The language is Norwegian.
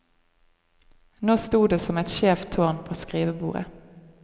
Nå sto det som et skjevt tårn på skrivebordet.